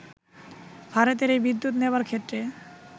ভারতের এই বিদ্যুৎ নেবার ক্ষেত্রে